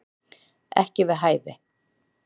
Ekki við hæfi